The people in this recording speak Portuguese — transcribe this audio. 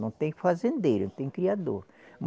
Não tem fazendeiro, tem criador.